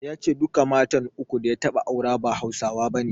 Ya ce duka matan uku da ya taɓa aure ba Hausawa bane.